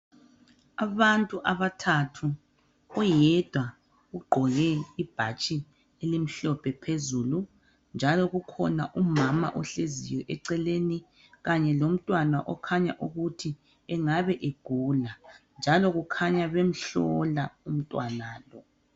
Abantu abathathu oyedwa ugqoke ibhatshi elimhlophe phezulu njalo kukhona umama ohleziyo eceleni kanye lomntwana okhanya ukuthi engabe egula. Njalo kukhanya bemhlola umntwana lo.